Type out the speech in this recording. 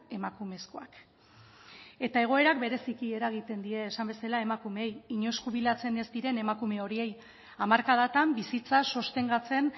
emakumezkoak eta egoerak bereziki eragiten die esan bezala emakumeei inoiz jubilatzen ez diren emakume horiei hamarkadatan bizitza sostengatzen